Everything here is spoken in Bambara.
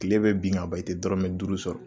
kile be bin ka ban i tɛ dɔrɔmɛ duuru sɔrɔ